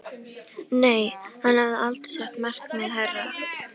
Nei, hann hafði aldrei sett markið hærra.